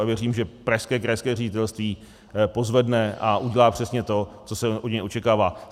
A věřím, že pražské krajské ředitelství pozvedne a udělá přesně to, co se od něj očekává.